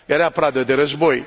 Era pradă de război.